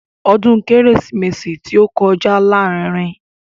Ọdún kérésìmesì tí ó kọjá lárinrin.